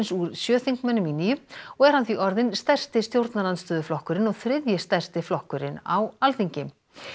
úr sjö þingmönnum í níu og er hann því orðinn stærsti stjórnarandstöðuflokkurinn og þriðji stærsti flokkurinn á Alþingi